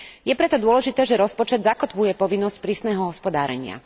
Je preto dôležité, že rozpočet zakotvuje povinnosť prísneho hospodárenia.